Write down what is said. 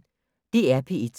DR P1